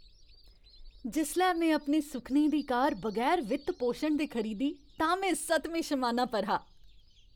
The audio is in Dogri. जिसलै में अपने सुखनें दी कार बगैर वित्त पोशन दे खरीदी तां में सतमें शमाना पर हा।